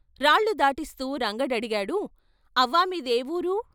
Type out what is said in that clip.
రాళ్ళు దాటిస్తూ రంగడడిగాడు "అవ్వా మీదే ఊరు?"